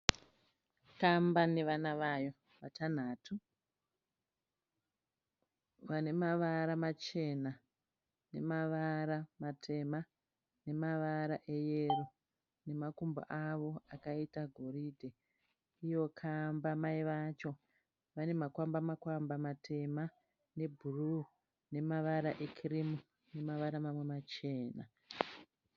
Kamba nevana vayo vatanhatu, vane mavara machena, nemavara matema, nemavara eyero, nemakumbo avo akaita goridhe. Iyo kamba mai vacho vane makwamba makwamba matema, ebhuruu, nemavara ekirimu, nemavara mamwe machena.